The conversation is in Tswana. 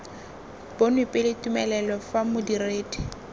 bonwe pele tumelelo fa modiredi